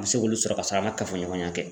An bɛ se k'olu sɔrɔ ka sɔrɔ a ma kafoɲɔgɔnya kɛ.